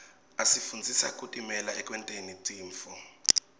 asifundzisa kutimela ekwenteni tintfo